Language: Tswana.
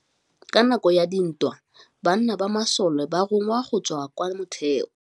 Ka nakô ya dintwa banna ba masole ba rongwa go tswa kwa mothêô.